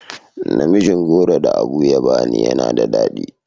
Namijin goro da Abu ya bani yana da dadi.